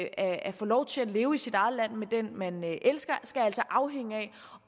at få lov til at leve i sit eget land med den man elsker skal altså afhænge af